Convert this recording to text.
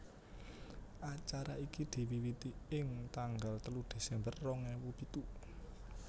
Acara iki diwiwiti ing tanggal telu Desember rong ewu pitu